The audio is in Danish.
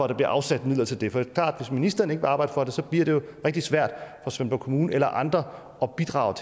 der bliver afsat midler til det for at hvis ministeren ikke vil arbejde for det bliver det jo rigtig svært for svendborg kommune eller andre at bidrage